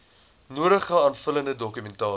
nodige aanvullende dokumentasie